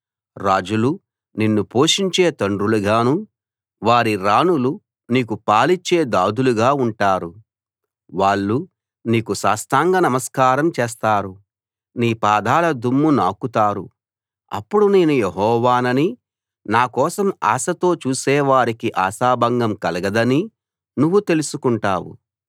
రాజులు నిన్ను పోషించే తండ్రులుగా వారి రాణులు నీకు పాలిచ్చే దాదులుగా ఉంటారు వాళ్ళు నీకు సాష్టాంగ నమస్కారం చేస్తారు నీ పాదాల దుమ్ము నాకుతారు అప్పుడు నేను యెహోవాననీ నా కోసం ఆశతో చూసే వారికి ఆశాభంగం కలగదనీ నువ్వు తెలుసుకుంటావు